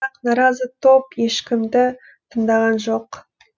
бірақ наразы топ ешкімді тыңдаған жоқ